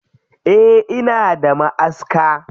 Eh ina da maʼaska.